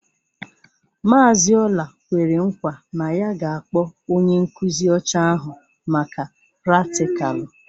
Mazị Ola kwere nkwa na ya ga-akpọ onye nkuzi ọcha ahụ maka pratikalu.